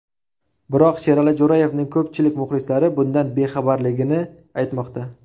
Biroq Sherali Jo‘rayevning ko‘pchilik muxlislari bundan bexabarligini aytmoqda.